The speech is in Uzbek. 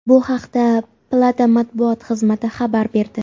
Bu haqda palata matbuot xizmati xabar berdi .